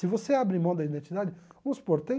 Se você abre mão da identidade, vamos supor, tem...